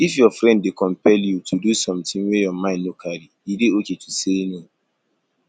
if your friend dey compel you to do something wey your mind no carry e dey okay to say no